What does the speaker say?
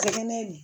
Kɛnɛ